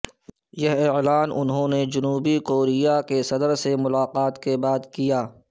یہ اعلان انھوں نے جنوبی کوریا کے صدر سے ملاقات کے بعد کیا